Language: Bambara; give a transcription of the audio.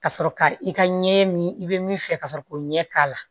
Ka sɔrɔ ka i ka ɲɛ min i bɛ min fɛ ka sɔrɔ k'o ɲɛ k'a la